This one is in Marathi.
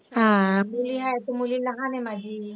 हा, मुली आहेत, मुली लहान आहे माझी.